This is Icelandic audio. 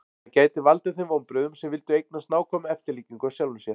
það gæti valdið þeim vonbrigðum sem vildu eignast nákvæma eftirlíkingu af sjálfum sér